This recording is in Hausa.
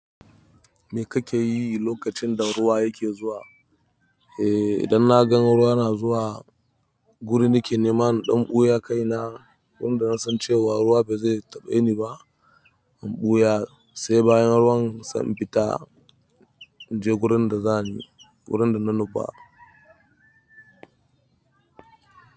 Me kake yi lokacin da ruwa yake zuwa? Eh, idan na gan ruwa na zuwa guri nake neman ɗan buyan kai na, wanda na san cewa ruwa bai zai taɓe ni ba. In ɓuya sai bayan ruwan sai in fita in je gurin da zani gurin da na nufa.